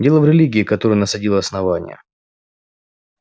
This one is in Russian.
дело в религии которую насадило основание